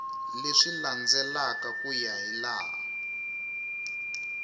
leswi landzelaka ku ya hilaha